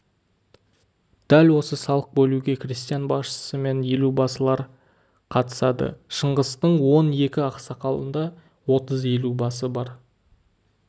дәл осы салық бөлуге крестьян басшысы мен елубасылар қатысады шыңғыстың он екі ақсақалында отыз елубасы бар